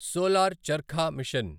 solar charkha machine